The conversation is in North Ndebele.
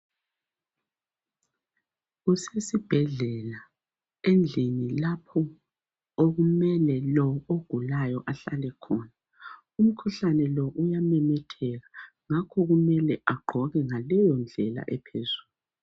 Kusesibhedlela endlini lapho okumele lo ogulayo ahlale khona. Umkhuhlane lo uyamemetheka, ngakho kumele agqoke ngaleyo indlela ephezulu.